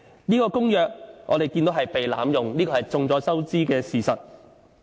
這公約被濫用，已經是眾所周知的事實。